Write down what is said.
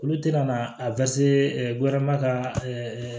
Olu tɛna na a ka